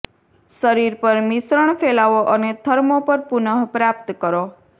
શરીર પર મિશ્રણ ફેલાવો અને થર્મો પર પુનઃપ્રાપ્ત કરો